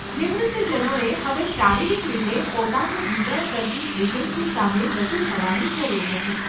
નિવૃત્તજનોએ હવે શારીરિક રીતે પોતાને વિતરણ કરતી એજન્સી સામે રજૂ થવાની જરૂર નથી.